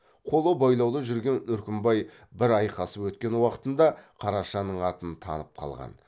қолы байлаулы жүрген үркімбай бір айқасып өткен уақытында қарашаның атын танып қалған